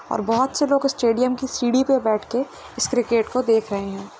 और बोहोत से लोग स्टेडियम की सीढ़ी पे बैठ के इस क्रिकेट को देख रहे हैं।